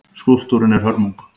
Skúlptúrinn er hörmung.